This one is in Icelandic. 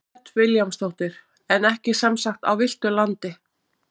Hödd Vilhjálmsdóttir: En ekki sem sagt á villtu landi?